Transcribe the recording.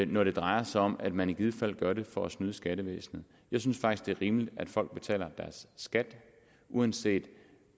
når det drejer sig om at man i givet fald gør det for at snyde skattevæsenet jeg synes faktisk at det er rimeligt at folk betaler deres skat uanset